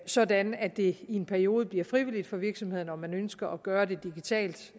sådan at det i en periode bliver frivilligt for virksomhederne om man ønsker at gøre det digitalt